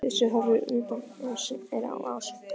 Bjössi horfir útundan sér á Ásu.